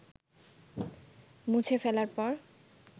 মুছে ফেলার পর